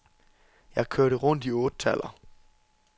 Jeg kørte rundt i ottetaller.